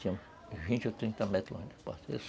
Tinha vinte ou trinta metros